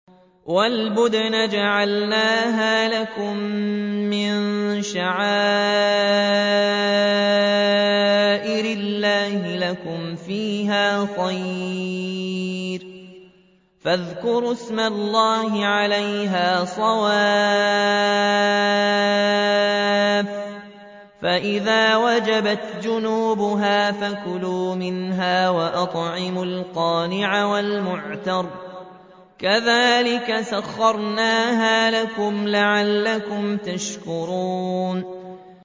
وَالْبُدْنَ جَعَلْنَاهَا لَكُم مِّن شَعَائِرِ اللَّهِ لَكُمْ فِيهَا خَيْرٌ ۖ فَاذْكُرُوا اسْمَ اللَّهِ عَلَيْهَا صَوَافَّ ۖ فَإِذَا وَجَبَتْ جُنُوبُهَا فَكُلُوا مِنْهَا وَأَطْعِمُوا الْقَانِعَ وَالْمُعْتَرَّ ۚ كَذَٰلِكَ سَخَّرْنَاهَا لَكُمْ لَعَلَّكُمْ تَشْكُرُونَ